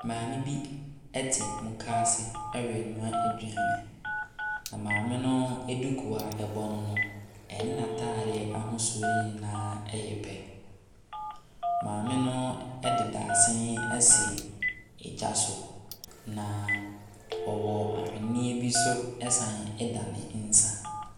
Maame bi te moka ase renoa aduane. Na maame no duku a ɛbɔ ne no ne n’ataadeɛ ahosuo nyinaa yɛ pɛ. Maame no de dadesɛn asi gya so. Na ɔwɔ aweneɛ bi nso san da ne nsa.